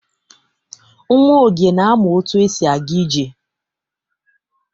Nwa Oge na-amụ otu esi aga ije.